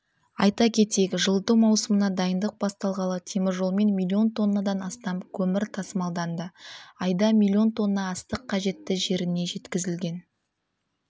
айта кетейік жылыту маусымына дайындық басталғалы теміржолмен миллион тоннадан астам көмір тасымалданды айда миллион тонна астық қажетті жеріне жеткізілген